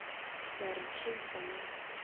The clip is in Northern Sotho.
le a re tracer naa